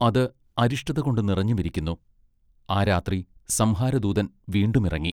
അത് അരിഷ്ടതകൊണ്ട് നിറഞ്ഞുമിരിക്കുന്നു ആ രാത്രി സംഹാര ദൂതൻവീണ്ടും ഇറങ്ങി.